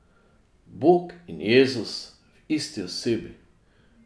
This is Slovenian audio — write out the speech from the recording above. Bog in Jezus v isti osebi!